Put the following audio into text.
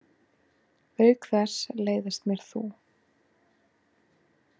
Auk þess leiðist mér þú.